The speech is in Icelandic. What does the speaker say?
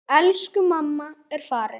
Elsku mamma er farin.